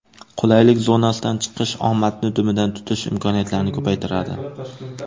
Qulaylik zonasidan chiqish omadni dumidan tutish imkoniyatlarini ko‘paytiradi.